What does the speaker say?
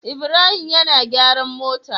Ibrahim yAna gyaran mota